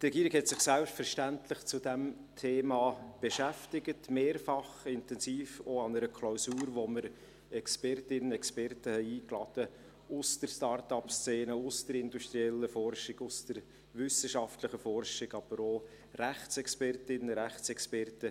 Die Regierung hat sich selbstverständlich mit diesem Thema beschäftigt, mehrfach intensiv auch an einer Klausur, zu der wir Expertinnen und Experten eingeladen hatten aus der Startup-Szene, aus der industriellen Forschung, aus der wissenschaftlichen Forschung, aber auch Rechtsexpertinnen und Rechtsexperten.